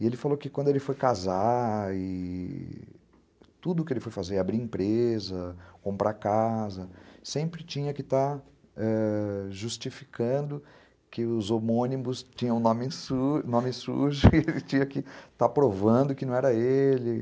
E ele falou que quando ele foi casar e... tudo que ele foi fazer, abrir empresa, comprar casa, sempre tinha que estar ãh justificando que os homônimos tinham nome su sujo e ele tinha que estar provando que não era ele.